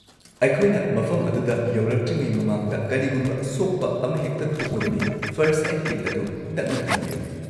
ꯑꯩꯈꯣꯏꯅ ꯃꯐꯝ ꯑꯗꯨꯗ ꯌꯧꯔꯛꯇ꯭ꯔꯤꯉꯩ ꯃꯃꯥꯡꯗ ꯀꯔꯤꯒꯨꯝꯕ ꯁꯣꯛꯄ ꯑꯃꯍꯦꯛꯇ ꯊꯣꯛꯂꯕꯗꯤ ꯐꯔꯁꯠ-ꯑꯦꯗ ꯀꯤꯠ ꯑꯗꯨ ꯅꯛꯅ ꯊꯝꯕꯤꯌꯨ꯫